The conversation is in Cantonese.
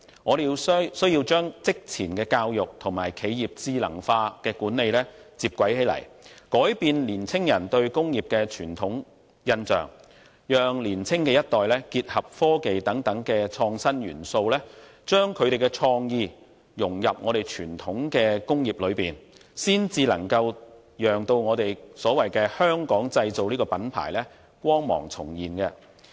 我們需要將職前教育與企業智能化的管理接軌，改變青年人對工業的傳統印象，讓年青一代結合科技等創新元素，將他們的創意融入傳統工業當中，才能讓"香港製造"的品牌光芒重現。